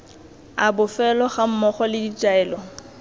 a bofelo gammogo le ditaelo